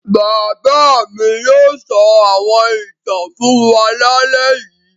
Bàbá mi yóò sọ àwọn ìtàn fún wa lálẹ́ yìí.